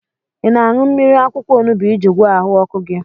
Ị na-aṅụ mmiri akwụkwọ onubu iji gwọọ ahụ ọkụ gị?